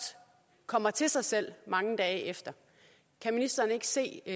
kommer til sig selv mange dage efter kan ministeren ikke se